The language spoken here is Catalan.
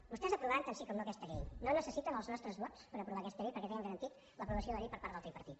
vostès aprovaran tant sí com no aquesta llei no necessiten els nostres vots per aprovar aquesta llei perquè tenen garantit l’aprovació de la llei per part del tripartit